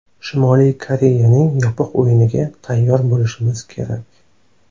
Shimoliy Koreyaning yopiq o‘yiniga tayyor bo‘lishimiz kerak.